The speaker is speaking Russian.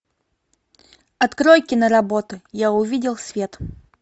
открой киноработу я увидел свет